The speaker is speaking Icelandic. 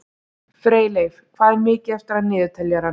Freyleif, hvað er mikið eftir af niðurteljaranum?